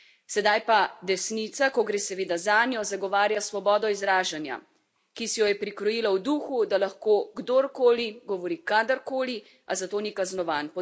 Sedaj pa desnica, ko gre seveda zanjo, zagovarja svobodo izražanja, ki si jo je prikrojila v duhu, da lahko kdorkoli govori karkoli, a za to ni kaznovan.